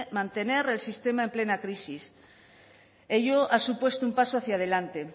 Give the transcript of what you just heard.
mantener el sistema en plena crisis ello ha supuesto un paso hacia delante